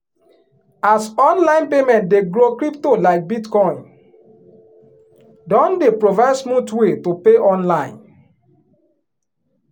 as online payment dey growcrypto like bitcoin don dey provide smooth way to pay online